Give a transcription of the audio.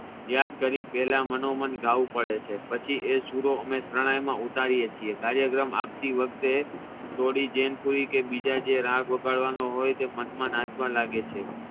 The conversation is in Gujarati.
યાદ કરી પેલા મનોમન ગાવુ પડે છે પછી એ સૂરો અમે શરણાઈ માં ઉતારિયે છે કાર્યક્રમ આપતી વખતે થોડી જેનફુલી કે બીજા જે રાગ વગાડવાના હોઈ તે મનમા નાચવા લાગવા લાગે છે